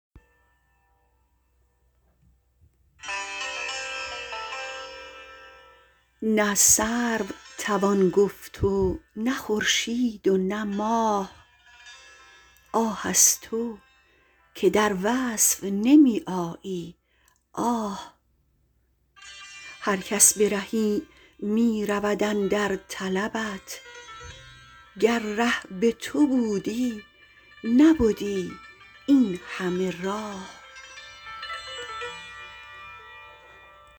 نه سرو توان گفت و نه خورشید و نه ماه آه از تو که در وصف نمی آیی آه هرکس به رهی می رود اندر طلبت گر ره به تو بودی نبدی اینهمه راه